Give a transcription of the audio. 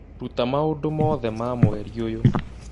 rũta maũndũ mothe ma mweri ũyũ